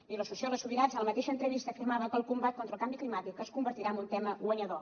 i la sociòloga subirats en la mateixa entrevista afirmava que el combat contra el canvi climàtic es convertirà en un tema guanyador